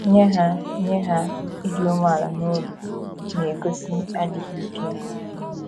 Nye ha, Nye ha, ịdị umeala n’obi na - egosi adịghị ike.